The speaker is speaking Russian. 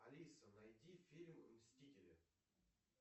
алиса найди фильм мстители